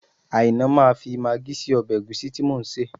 Àìná máa fi magí sí ọbẹ̀ ẹ̀gúsí tí mò ń sè